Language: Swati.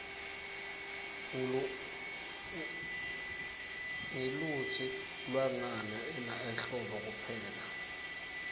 ngluitsi lwngani ina ehlobo kuphela